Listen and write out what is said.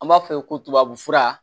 An b'a fɔ ye ko tubabufura